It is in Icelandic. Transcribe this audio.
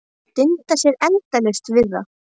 Gat dundað sér endalaust við það.